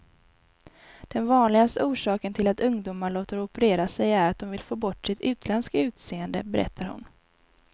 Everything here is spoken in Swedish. Den vanligaste orsaken till att ungdomar låter operera sig är att de vill få bort sitt utländska utseende, berättar hon.